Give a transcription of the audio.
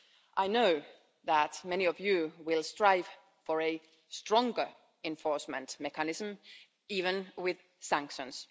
I know that many of you will strive for a stronger enforcement mechanism even with sanctions.